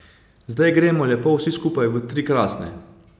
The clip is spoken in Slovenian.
Zdaj gremo lepo vsi skupaj v tri krasne.